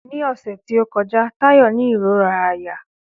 Ní ọ̀sẹ̀ tí ó kọjá, Táyò ní ìróra àyà